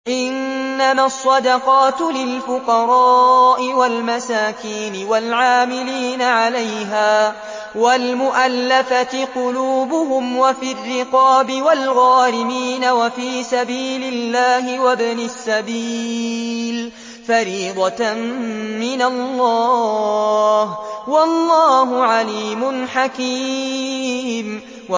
۞ إِنَّمَا الصَّدَقَاتُ لِلْفُقَرَاءِ وَالْمَسَاكِينِ وَالْعَامِلِينَ عَلَيْهَا وَالْمُؤَلَّفَةِ قُلُوبُهُمْ وَفِي الرِّقَابِ وَالْغَارِمِينَ وَفِي سَبِيلِ اللَّهِ وَابْنِ السَّبِيلِ ۖ فَرِيضَةً مِّنَ اللَّهِ ۗ وَاللَّهُ عَلِيمٌ حَكِيمٌ